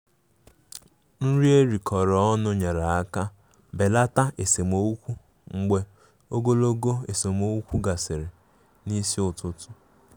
Nri erikọrọ ọnụ nyere aka belata esemokwu mgbe ogologo esemokwu gasịrị n'isi ụtụtụ.